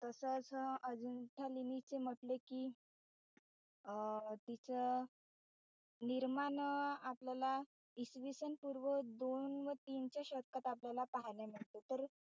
तस असं अजिंठा लेणीचे म्हटले कि अं तीच निर्माण आपल्याला इसवी सन पूर्व दोन व तीनच्या शतकात आपल्याला पहायला मिळत तर,